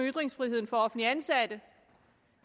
ytringsfriheden for offentligt ansatte